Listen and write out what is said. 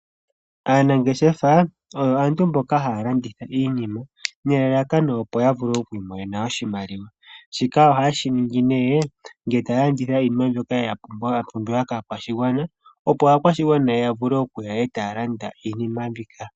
Aanangeshefa oyo aantu mboka haya landitha iinima nelalakano, opo yavule oku imonena oshimaliwa. Shika ohaye shiningi ngele taya landitha iinima mbyoka yapumbiwa kaakwashigwana, opo aakwashigwana ya vule okuya yalande iinima mbika.